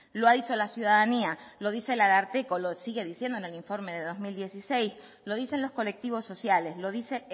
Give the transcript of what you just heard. lo ha dicho la ciudadanía lo dice el ararteko lo sigue diciendo en el informe de dos mil dieciséis lo dicen los colectivos sociales lo dice